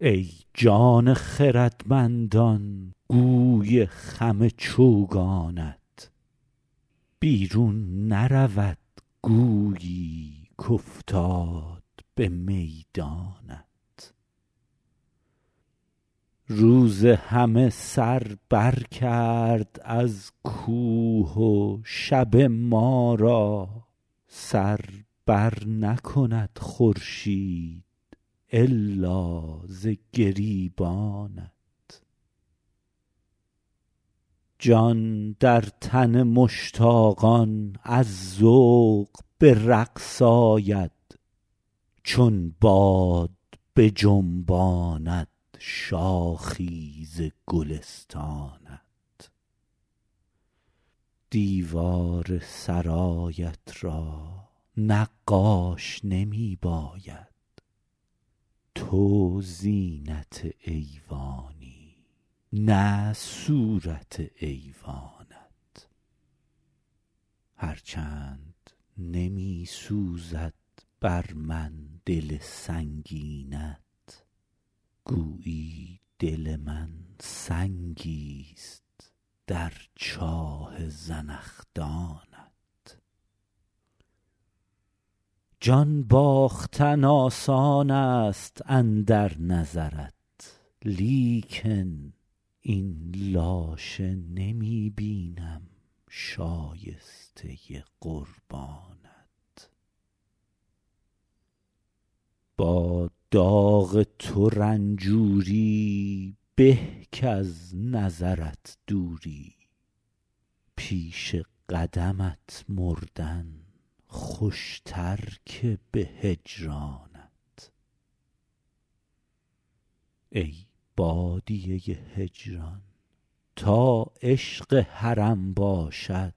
ای جان خردمندان گوی خم چوگانت بیرون نرود گویی کافتاد به میدانت روز همه سر بر کرد از کوه و شب ما را سر بر نکند خورشید الا ز گریبانت جان در تن مشتاقان از ذوق به رقص آید چون باد بجنباند شاخی ز گلستانت دیوار سرایت را نقاش نمی باید تو زینت ایوانی نه صورت ایوانت هر چند نمی سوزد بر من دل سنگینت گویی دل من سنگیست در چاه زنخدانت جان باختن آسان است اندر نظرت لیکن این لاشه نمی بینم شایسته قربانت با داغ تو رنجوری به کز نظرت دوری پیش قدمت مردن خوشتر که به هجرانت ای بادیه هجران تا عشق حرم باشد